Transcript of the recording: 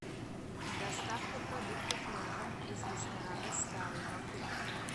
доставка продуктов на дом из ресторана старый баку